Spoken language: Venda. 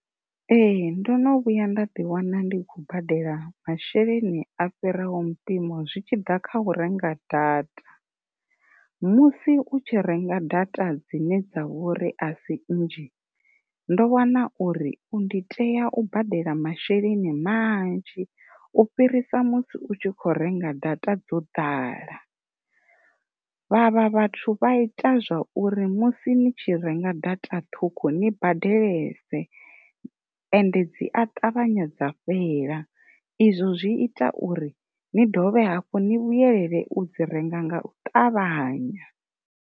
Ee ndono vhuya nda ḓi wana ndi khou badela masheleni a fhiraho mpimo zwi tshi ḓa kha u renga data. Musi u tshi renga data dzine dza vhori asi nnzhi ndo wana uri ndi tea u badela masheleni manzhi u fhirisa musi u tshi kho renga data dzo ḓala, vhavha vhathu vha ita zwa uri musi ni tshi tshi renga data ṱhukhu ni badelese ende dzi a ṱavhanya dza fhela izwo zwi ita uri ni dovhe hafhu ni vhuyelela u dzi renga nga u ṱavhanya.